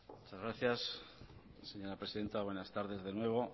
muchas gracias señora presidenta buenas tardes de nuevo